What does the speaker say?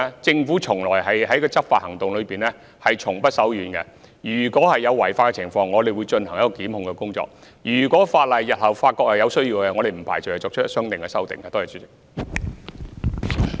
政府在執法行動方面從不手軟，如有違法情況，我們會進行檢控工作；日後如果發現有需要修改法例，我們不排除會作出相應修訂。